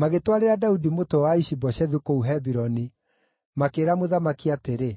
Magĩtwarĩra Daudi mũtwe wa Ishi-Boshethu kũu Hebironi, makĩĩra mũthamaki atĩrĩ,